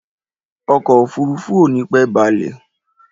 Ọkọ̀ òfurufú ò nípẹ́ balẹ̀.